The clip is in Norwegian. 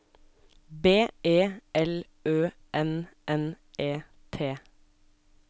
B E L Ø N N E T